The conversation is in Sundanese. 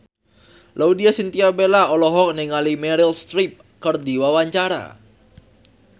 Laudya Chintya Bella olohok ningali Meryl Streep keur diwawancara